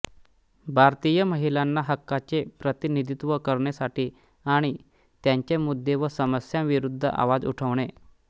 भारतीय महिलांच्या हक्कांचे प्रतिनिधित्व करणेसाठी आणि त्यांचे मुद्दे व समस्यांविरुद्ध आवाज उठवणे